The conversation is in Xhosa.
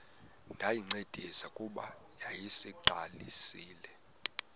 ndayincedisa kuba yayiseyiqalisile